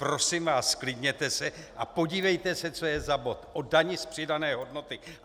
Prosím vás, zklidněte se a podívejte se, co je za bod, o dani z přidané hodnoty.